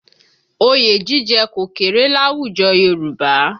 Oyè jíjẹ kò kéré láwùjọ Yorùbá